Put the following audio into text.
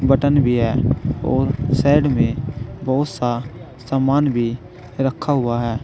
Button भी और side में बहुत सा सामान भी रखा हुआ है।